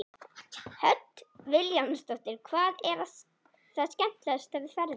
Hödd Vilhjálmsdóttir: Hvað er það skemmtilegasta við ferðirnar?